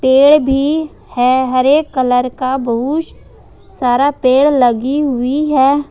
पेड़ भी है हरे कलर का बहुस सारा पेड़ लगी हुई है।